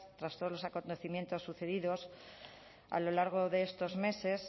tras todos los acontecimientos sucedidos a lo largo de estos meses